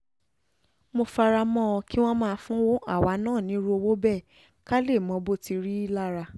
mo fara mọ́ kí wọ́n máa fún àwa náà nírú owó bẹ́ẹ̀ ká lè mọ bó tí ì rí lára